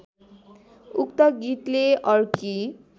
उक्त गीतले अर्की